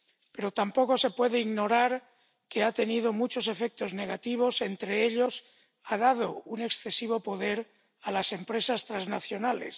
Pero tampoco se puede ignorar que han tenido muchos efectos negativos, entre ellos, han dado un excesivo poder a las empresas transnacionales.